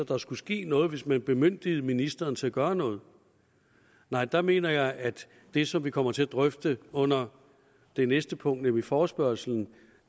der skulle ske noget hvis man bemyndigede ministeren til at gøre noget der mener jeg at det som vi kommer til at drøfte under det næste punkt nemlig forespørgslen